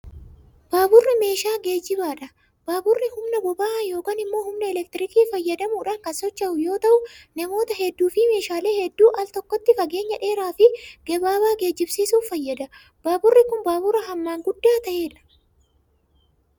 Baaburri meeshaa geejibaa dha. Baaburri humna boba'aa yokin immo humna elektirikaa fayyadamuun kan socho'u yoo ta'u, namoota hedduu fi meeshaalee hedduu al tokkotti fageenya dheeraa fi gabaabaa geejibsiisuuf fayyada. Baaburri kun, baabura hammaan guddaa ta'eedha.